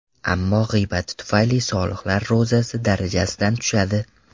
Ammo g‘iybati tufayli solihlar ro‘zasi darajasidan tushadi.